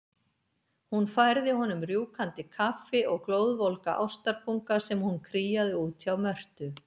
Hún færði honum rjúkandi kaffi og glóðvolga ástarpunga sem hún kríaði út hjá Mörtu.